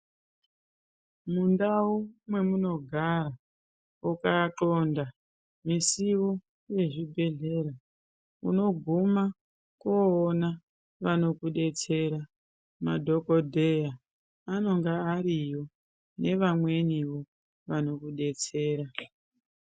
Mundau mwemunogara ukanxonda misiwo yezvibhedhedhlera unoguma koona vanokudetsera madhokodheya vanenge variyo nevamwenivo vanokudetsera.